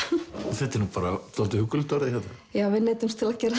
þetta er nú bara dálítið huggulegt orðið já við neyddumst til að gera